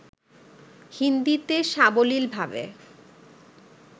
হিন্দীতে সাবলীলভাবে